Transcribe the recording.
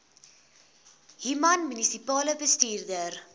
human munisipale bestuurder